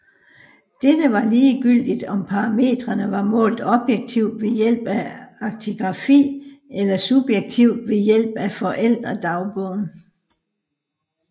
Dette var ligegyldigt om parametrene var målt objektivt ved hjælp af aktigrafi eller subjektivt ved hjælp af forældre dagbogen